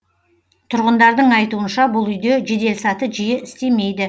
тұрғындардың айтуынша бұл үйде жеделсаты жиі істемейді